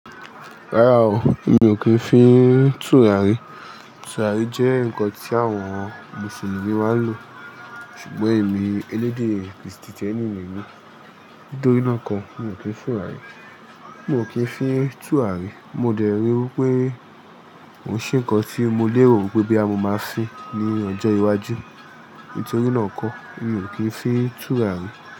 Rárá o, mi ò kí ń fín tùràrí. Tùràrí jẹ́ ǹkan tí àwon Mùsùlùmí máa ń lò. Ṣùgbọ́n èmi elédè Kristìtẹ́nì nìyẹn. Nítorínà kọ mi ò kí ń fín tùràrí. Mi ò kí ń fí tùràrí. Mo dẹ̀ rí wípé oun ṣì ǹkan tí mo lè rò wípé bí a mo máa ń fí ní ọjọ́ iwájú. Nítorínà ko mi ò kí ń fí tùràrí.